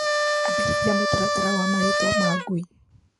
Ambĩrĩria mũtaratara wa marĩtwa ma ngui.